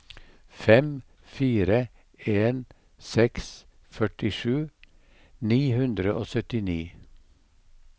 fem fire en seks førtisju ni hundre og syttini